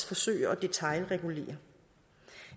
forsøge at detailregulere